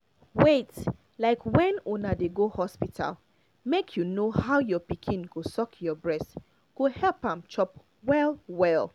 wait like when una dey go hospital make you know how your pikin go suck your breast go help am chop well well